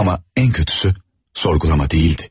Amma ən pisi sorğulama deyildi.